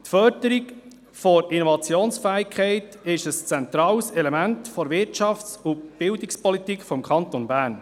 Die Förderung der Innovationsfähigkeit ist ein zentrales Element der Wirtschafts- und Bildungspolitik des Kantons Bern.